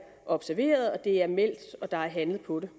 observeret det er meldt og der er handlet på det